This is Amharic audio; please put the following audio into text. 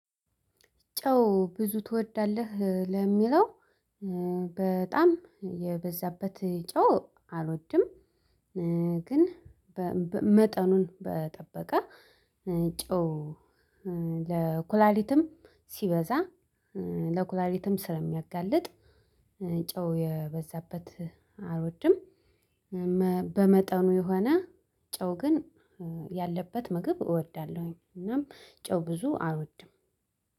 ጨው ብዙ ትወዳለህ ለሚለው በጣም የበዛበት ጨው አልወድም። ግን መጠኑን በጠበቀ ጨው ለኩላሊትም ሲበዛ ለኩላሊትም ስለሚያጋልጥ ጨው የበዛበት አልወድም። በመጠኑ የሆነ ጨው ግን ያለበት ምግብ እወዳለሁኝ። እናም ጨው ብዙ አልወድም።